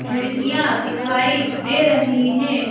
खिड़कियां दिखाई दे रही हैं।